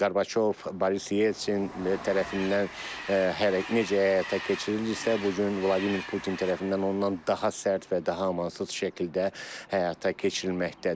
Qarabaçov, Boris Yeltsin tərəfindən necə həyata keçirilirdisə, bu gün Vladimir Putin tərəfindən ondan daha sərt və daha amansız şəkildə həyata keçirilməkdədir.